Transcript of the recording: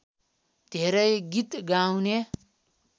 धेरै गीत गाउने